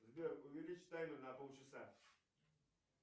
сбер увеличь таймер на полчаса